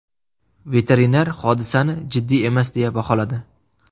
Veterinar hodisani jiddiy emas deya baholadi.